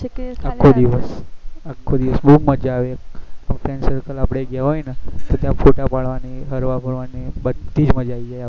આખો દિવસ આખો દિવસ બહુ મજા આવે friends circle આપડે ગયા હોય ને તો ત્યાં photo પડવાની હરવા ફરવાની બધી જ મજા આવી જાય